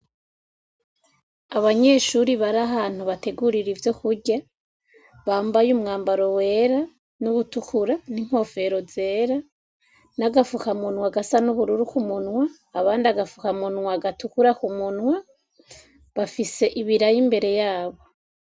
Abanyeshuri barahantu bategurira ivyo kurya bambaye umwambaro wera nuwutukura, n'inkofero zera n'agafuka munwa gasa n'ubururu, abandi agafuka munwa gatukura k'umunwa, bafise ibiraya imbere yabo.